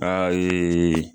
Ayiiii